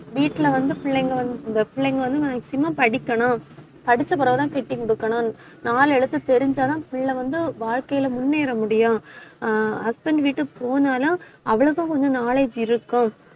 வீட்டுல வந்து பிள்ளைங்க வந்து, இந்த பிள்ளைங்க வந்து maximum படிக்கணும். படிச்ச பிறகுதான் கட்டி கொடுக்கணும் நாலு எழுத்து தெரிஞ்சாதான் பிள்ளை வந்து, வாழ்க்கையில முன்னேற முடியும் ஆஹ் husband வீட்டுக்கு போனாலும் அவ்வளவா கொஞ்சம் knowledge இருக்கும்